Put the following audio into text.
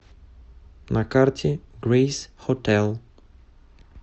на карте грейс хотел